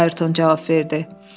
Ayerton cavab verdi.